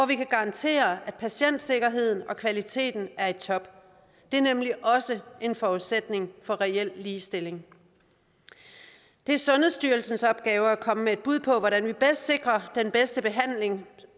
vi kan garantere at patientsikkerheden og kvaliteten er i top det er nemlig også en forudsætning for reel ligestilling det er sundhedsstyrelsens opgave at komme med et bud på hvordan vi bedst sikrer den bedste behandling